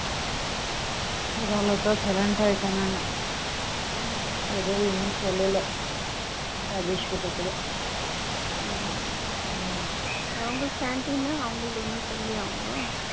foreign language எதுவும் இன்னும் சொல்லல ராஜேஸ்வரி கிட்ட கூட ம்ம ம்ம foreign language